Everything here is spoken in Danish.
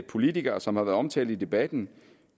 politikere som har været omtalt i debatten